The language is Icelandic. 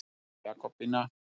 Jakobína